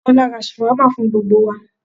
Kọ́lá ra ṣàwámà fún gbogbo wa